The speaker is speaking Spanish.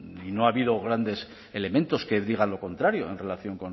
y no ha habido grandes elementos que digan lo contrario en relación